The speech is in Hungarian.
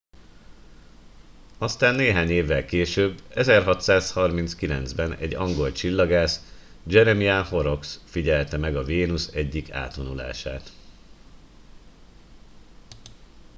aztán néhány évvel később 1639 ben egy angol csillagász jeremiah horrocks figyelte meg a vénusz egyik átvonulását